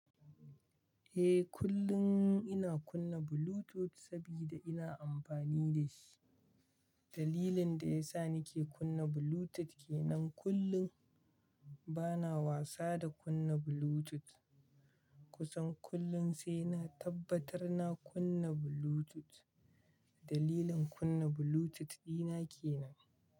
Eh, kullum ina kunna Bluetooth saboda ina amfani da shi. Dalilin da ya sa nake kunna Bluetooth kenan kullum bana wasa da kunna Bluetooth. Kusan kullum sai na tabbatar na kunna Bluetooth. Dalilin kunna Bluetooth dina kenan.